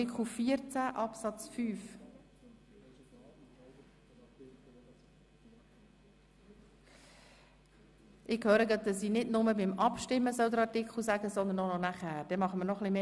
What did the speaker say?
Ich höre gerade, dass ich nicht nur beim Abstimmen den Artikel erwähnen soll, sondern auch bei der Resultatbekanntgabe.